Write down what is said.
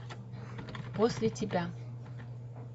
после тебя